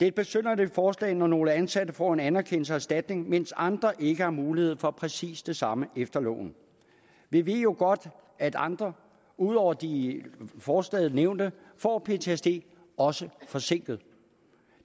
et besynderligt forslag når nogle ansatte får en anerkendelse og erstatning mens andre ikke har mulighed for præcis det samme efter loven vi ved jo godt at andre ud over de i forslaget nævnte får ptsd også forsinket